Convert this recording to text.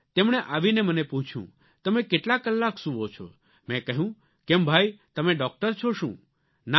તેમણે આવીને મને પૂછ્યું તમે કેટલા કલાક સૂવો છો મેં કહ્યું કેમ ભાઇ તમે ડોક્ટર છો શું ના ના